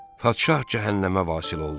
Padşah cəhənnəmə vasil oldu.